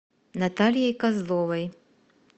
натальей козловой